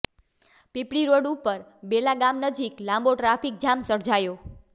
પીપળીરોડ ઉપર બેલા ગામ નજીક લાંબો ટ્રાફિકજામ સર્જાયો